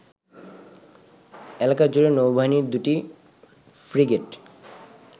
এলাকাজুড়ে নৌবাহিনীর দুটি ফ্রিগেট